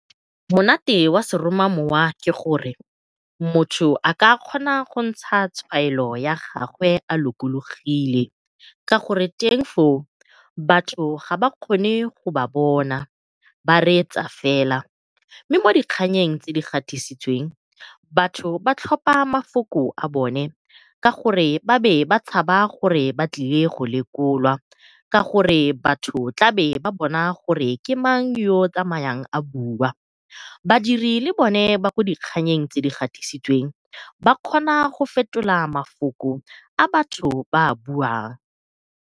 Monate wa seromamowa ke gore motho a ka kgona go ntsha tshwaelo ya gagwe a lokologile ka gore teng foo batho ga kgone go ba bona ba reetsa fela. Mme mo dikganyeng tse di gatisitsweng batho ba tlhopa mafoko a bone ka gore ba be ba tshaba gore ba tlile go lekolwa, ka gore batho ba tla be ba bona gore ke mang yo o tsamayang a bua. Badiri le bone ba ko dikganyeng tse di gatisitsweng ba kgona go fetola mafoko a batho ba buang.